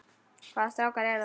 Hvaða strákar eru það?